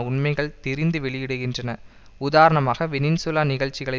உண்மைகளை திரித்து வெளியிடுகின்றன உதாரணமாக வெனின்சூலா நிகழ்ச்சிகளை